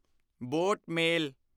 boat ਮੇਲ